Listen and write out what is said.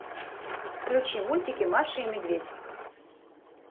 включи мультики маша и медведь